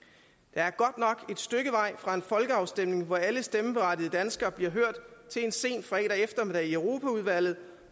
er godt nok et stykke vej fra en folkeafstemning hvor alle stemmeberettigede danskere bliver hørt til en sen eftermiddag i europaudvalget